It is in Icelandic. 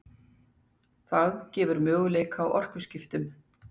Það gefur möguleika á orkuskiptum.